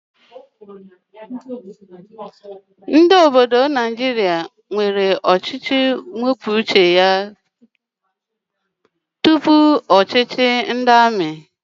Ndị obodo Naijiria nwere ọchịchị onye kwuo uche ya tupu ọchịchị ndị amị